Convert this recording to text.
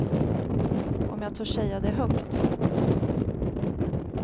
Om jag törs säga det högt?